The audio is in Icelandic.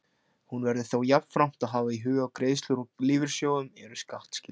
Hér verður þó jafnframt að hafa í huga að greiðslur úr lífeyrissjóðum eru skattskyldar.